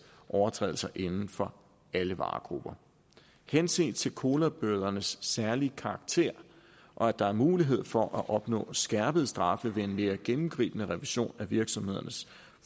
overtrædelser inden for alle varegrupper henset til colabødernes særlige karakter og at der er mulighed for at opnå skærpede straffe ved en mere gennemgribende revision af virksomhedernes